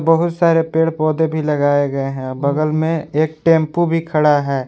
बहुत सारे पेड़ पौधे भी लगाए गए हैं बगल में एक टेंपो भी खड़ा है।